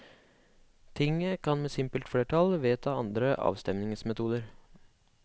Tinget kan med simpelt flertall vedta andre avstemningsmetoder.